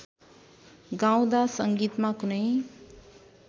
गाउँदा संगीतमा कुनै